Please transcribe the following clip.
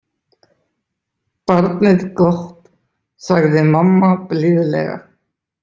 Barnið gott, sagði mamma blíðlega.